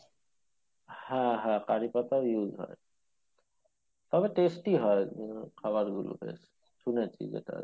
হ্যাঁ হ্যাঁ কারিপাতা ও use হয় তবে testy হয় বেশ খাবার গুলি বেশ শুনেছি যেটা আরকি